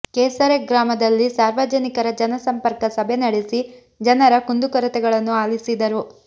ಕೆಸರೆ ಗ್ರಾಮದಲ್ಲಿ ಸಾರ್ವಜನಿಕರ ಜನಸಂಪರ್ಕ ಸಭೆ ನಡೆಸಿ ಜನರ ಕುಂದುಕೊರತೆಗಳನ್ನು ಆಲಿಸಿದರು